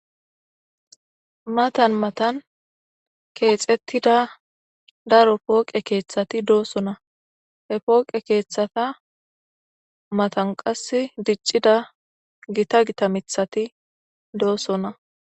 Matan matan keexettida daro pooqe keeththati doossonna, he pooqe keeththata matan qas diccida gita gitamithati doossona.